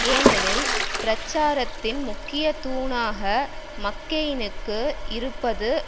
ஏனெனில் பிரச்சாரத்தின் முக்கிய தூணாக மக்கெயினுக்கு இருப்பது